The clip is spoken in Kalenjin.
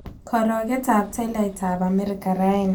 Karogetap tolaitap amerika raini